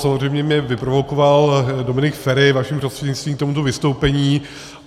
Samozřejmě mě vyprovokoval Dominik Feri vaším prostřednictvím k tomuto vystoupení.